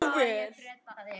Tíu börn.